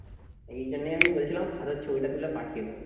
এই জন্যই আমি বলছিলাম খাতার ছবিটা তুলে পাঠিয়ে দেবো